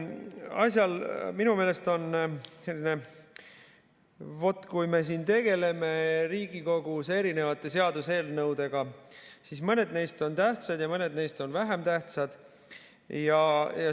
Asjad on minu meelest sellised, vaat, et kui me siin tegeleme Riigikogus erinevate seaduseelnõudega, siis mõned neist on tähtsad ja mõned neist on vähem tähtsad.